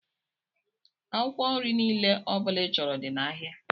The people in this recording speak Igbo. Akwụkwọ nri niile ọbula i chọrọ dị n' áhiá.